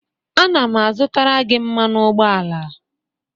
ana m azụtara gị mmanụ ụgbọala